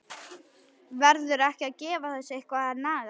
Verður ekki að gefa þessu eitthvað að naga?